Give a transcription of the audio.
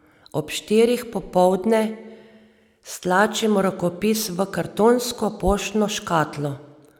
Ob štirih popoldne stlačim rokopis v kartonsko poštno škatlo.